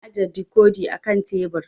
Na ajiye dikodi a kan tebur